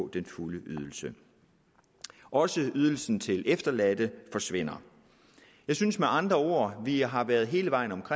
den fulde ydelse også ydelsen til de efterladte forsvinder jeg synes med andre ord at vi har været hele vejen